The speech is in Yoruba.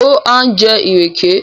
ó ha ńjẹ ìrèké?